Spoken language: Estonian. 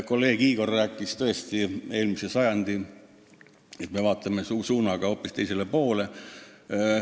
Kolleeg Igor rääkis, et me vaatame hoopis eelmise sajandi poole.